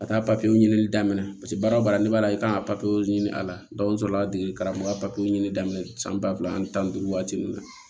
Ka taa papiyew ɲini daminɛ paseke baara o baara ne b'a ye k'a ka ɲini a la n sɔrɔ la degeli karamɔgɔ ka papiyew ɲini daminɛ san ba fila ani tan ni duuru waati min na